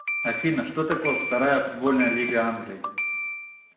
афина что такое вторая футбольная лига англии